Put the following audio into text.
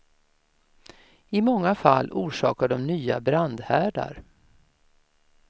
I många fall orsakar de nya brandhärdar.